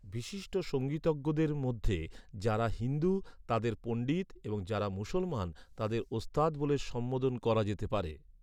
বিশিষ্ট সঙ্গীতজ্ঞদের মধ্যে যাঁরা হিন্দু, তাঁদের পণ্ডিত এবং যাঁরা মুসলমান, তাঁদের ওস্তাদ বলে সম্বোধন করা যেতে পারে।